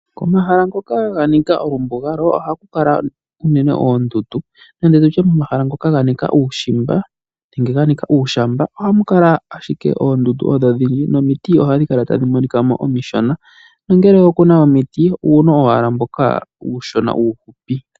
Komahala ngoka ganika olumbuga ohaku kala uunene oondundu nenge tutye omahala ngoka ganika uushimba nenge ganika uushamba, oha mu kala ashike oondundu odho odhindji nomiti ohadhi kala tadhi monika mo omishona, nongele okuna omiti uuno owala mboka uushona uufupi.